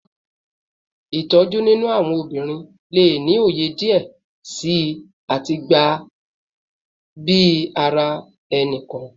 Itoju ninu awọn obinrin le ni oye diẹ sii ati gba bi ara ẹni-kọọkan